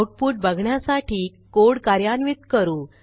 output बघण्यासाठी code कार्यान्वित करू